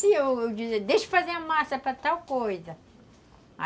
eu dizia, deixa eu fazer a massa para tal coisa.